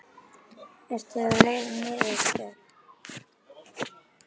Ertu á leiðinni niður á stöð?